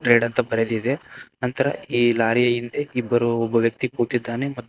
ಬರೆದಿದೆ ನಂತರ ಈ ಲಾರಿಯ ಹಿಂದೆ ಇಬ್ಬರು ಒಬ್ಬ ವ್ಯಕ್ತಿ ಕೂತಿದ್ದಾನೆ.